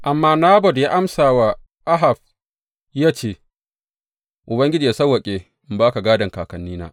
Amma Nabot ya amsa wa Ahab ya ce, Ubangiji yă sawwaƙe in ba ka gādon kakannina.